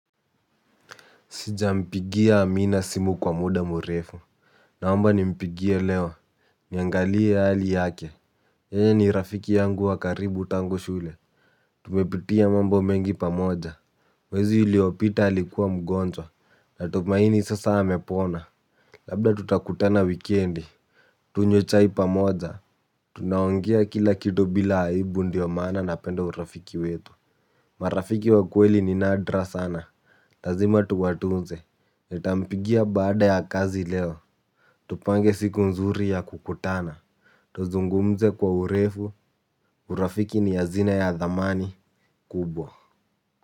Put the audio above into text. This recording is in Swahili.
Sijampigia amina simu kwa muda murefu. Naomba ni mpigie leo. Niangalie hali yake. Yeye ni rafiki yangu wakaribu tangu shule. Tumepitia mambo mengi pamoja. Mwezi iliopita alikuwa mgonjwa. Na tumaini sasa amepona. Labda tutakutana wikendi. Tunywe chai pamoja. Tunaongea kila kitu bila aibu ndiyo maana na penda urafiki wetu. Marafiki wakweli ni nadra sana. Lazima tuwatunze. Nitampigia baada ya kazi leo. Tupange siku nzuri ya kukutana. Tuzungumze kwa urefu. Urafiki ni yazina ya dhamani kubwa.